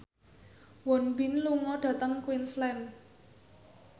Won Bin lunga dhateng Queensland